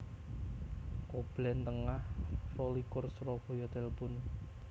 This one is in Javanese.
Koblen Tengah rolikur Surabaya Telpon